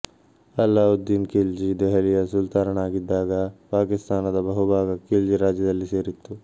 ಅಲ್ಲಾವುದ್ದೀನ್ ಖಿಲ್ಜಿ ದೆಹಲಿಯ ಸುಲ್ತಾನನಾಗಿದ್ದಾಗ ಪಾಕಿಸ್ತಾನದ ಬಹುಭಾಗ ಖಿಲ್ಜಿ ರಾಜ್ಯದಲ್ಲಿ ಸೇರಿತ್ತು